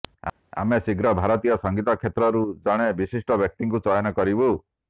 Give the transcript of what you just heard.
ଆମେ ଶୀଘ୍ର ଭାରତୀୟ ସଙ୍ଗୀତ କ୍ଷେତ୍ରରୁ ଜଣେ ବିଶିଷ୍ଟ ବ୍ୟକ୍ତିଙ୍କୁ ଚୟନ କରିବୁ